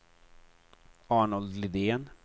Arnold Lidén